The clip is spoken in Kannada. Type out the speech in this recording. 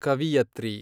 ಕವಿಯತ್ರಿ